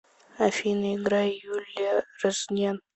афина играй юлия рознен